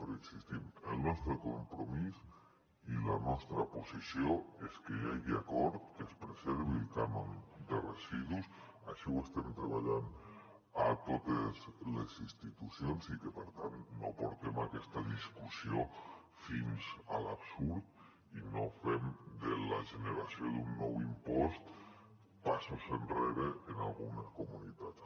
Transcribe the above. però hi insistim el nostre compromís i la nostra posició és que hi hagi acord que es preservi el cànon de residus així ho estem treballant a totes les institucions i que per tant no portem aquesta discussió fins a l’absurd i no fem de la generació d’un nou impost passos enrere en algunes comunitats